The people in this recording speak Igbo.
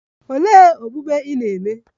Olee okpukpe ị na - eme?